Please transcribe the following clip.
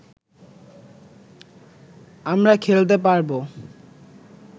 আমরা খেলতে পারবো